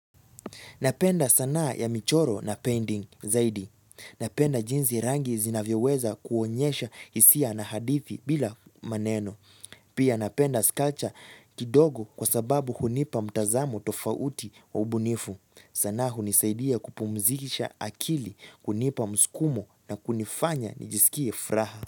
Napenda sanaa ya michoro na painting zaidi. Napenda jinsi rangi zinavyoweza kuonyesha hisia na hadithi bila maneno. Pia napenda skacha kidogo kwa sababu hunipa mtazamo tofauti wa ubunifu. Sanaa hunisaidia kupumzikisha akili kunipa mskumo na kunifanya nijisikie furaha.